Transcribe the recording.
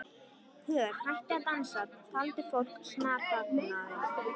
Pör hættu að dansa, talandi fólk snarþagnaði.